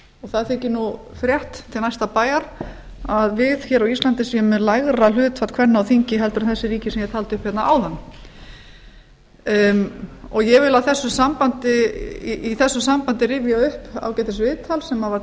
það þykir nú frétt til næsta bæjar að við hér á íslandi séum með lægra hlutfall kvenna á þingi en þessi ríki sem ég taldi upp hérna áðan ég vil í þessu sambandi rifja upp ágætis viðtal sem var